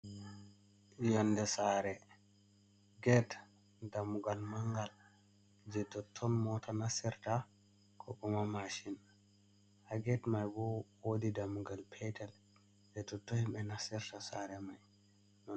Yonde sare ged dammugal mangal je totton mota nasirta kokuma mashin. Ha ged mai bo wodi dammugal petel je totton himɓe nasirta sare mai.